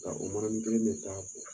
Nka o manani kelen bɛ taa ko